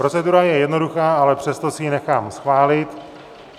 Procedura je jednoduchá, ale přesto si ji nechám schválit.